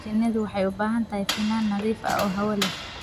Shinnidu waxay u baahan tahay finan nadiif ah oo hawo leh.